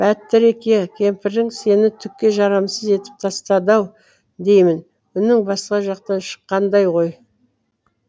бәтіреке кемпірің сені түкке жарамсыз етіп тастады ау деймін үнің басқа жақтан шыққандай ғой